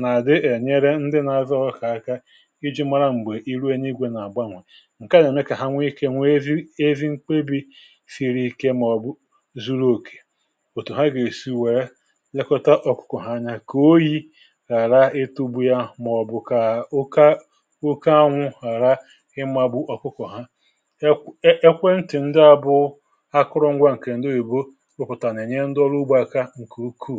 nà-àdị ènyere ndị nȧ-ȧzọ kà aka iji̇ mara m̀gbè iru enye igwè nà-àgbanwà. ǹke à nà-ème kà ha nwee ikė, nwee zi ezi mkpebì siri ike màọ̀bụ̀ zụrụ òkè. òtù ha gà-èsi wèe ekota ọ̀kụ̀kọ̀ anya kà oyi hàra itugbu ya màọ̀bụ̀ kà oke anwụ̇ hàra imȧ bụ̀ ọ̀kụkọ̀ ha. ekwentị̀ ndị abụ akụrụngwa ǹkè ǹdowe bụ̇ ụpụ̀tà nà-ènye ndị ọrụ ugbȯ aka gùkù.